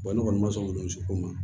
ne kɔni ma sɔn ko ma